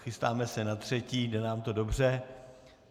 Chystáme se na třetí, jde nám to dobře.